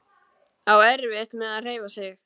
Á erfitt með að hreyfa sig.